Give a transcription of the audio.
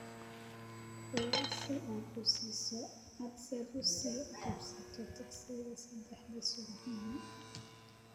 Wac si aad u sii qabsato tagsi saddexdii subaxnimo